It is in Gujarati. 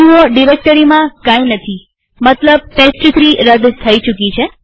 જુઓડિરેક્ટરીમાં કઈ નથીમતલબ ટેસ્ટ3 રદ થઇ ચુકી છે